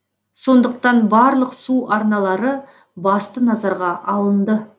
сондықтан барлық су арналары басты назарға алынды